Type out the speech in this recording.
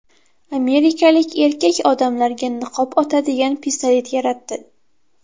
Amerikalik erkak odamlarga niqob otadigan pistolet yaratdi .